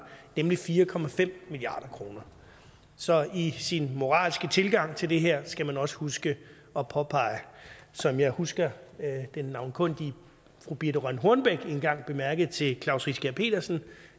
nemlig fire milliard kroner så i sin moralske tilgang til det her skal man også huske at påpege som jeg husker den navnkundige fru birthe rønn hornbech engang bemærkede til klaus riskær pedersen